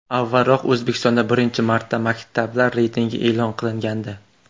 Avvalroq O‘zbekistonda birinchi marta maktablar reytingi e’lon qilingandi .